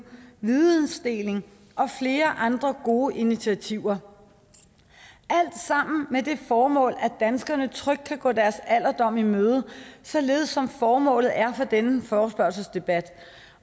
vidensdeling og flere andre gode initiativer alt sammen er det formål at danskerne trygt kan gå deres alderdom i møde således som formålet er for denne forespørgselsdebat